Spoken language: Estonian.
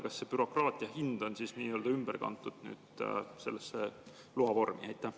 Kas see bürokraatia hind on siis nii-öelda ümber kantud sellesse loavormi?